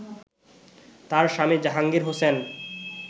তার স্বামী জাহাঙ্গীর হোসেন